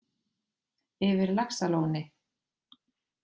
Yfir laxalóni